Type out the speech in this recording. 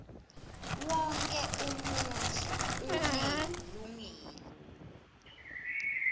wonkhe umuntfu unelilungelo